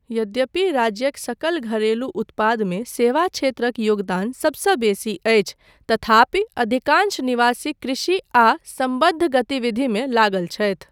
यद्यपि राज्यक सकल घरेलू उत्पादमे सेवा क्षेत्रक योगदान सबसँ बेसी अछि तथापि अधिकांश निवासी कृषि आ सम्बद्ध गतिविधिमे लागल छथि।